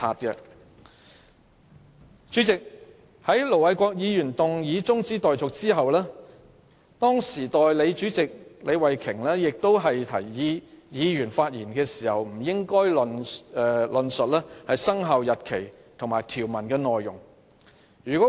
本會就盧偉國議員動議的中止待續議案辯論期間，代理主席李慧琼議員提醒議員發言時不應論述"生效日期"和有關條文的內容。